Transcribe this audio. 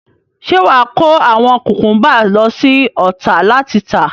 Ṣé wàá kó àwọn kùkúnbà lọ sí Ọ̀tà láti tà.